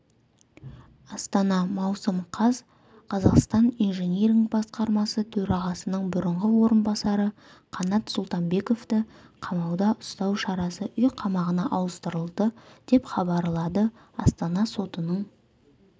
астана маусым қаз қазақстан инжиниринг басқармасы төрағасының бұрынғы орынбасары қанат сұлтанбековты қамауда ұстау шарасы үй қамағына ауыстырылды деп хабарлады астана сотының